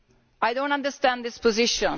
I do not understand this position.